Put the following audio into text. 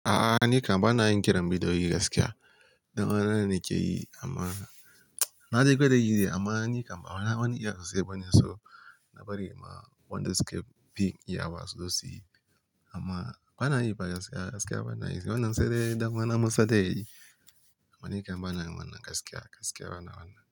A'a ni kam bana yin kiran bidiyoyi gaskiya. Danwana ne ke yi amma na de gwada yi ne dai amma ni kam bana wani iya susai bane so na bari ma wada suka fi iyawa su zo su yi amma bana yi ba gaskiya, gaskiya bana yi wannan sai dai dan uwana musa zai yi amma ni kam bana yin wannan gaskiya, gaskiya bana wannan.